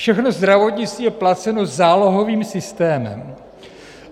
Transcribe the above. Všechno zdravotnictví je placeno zálohovým systémem.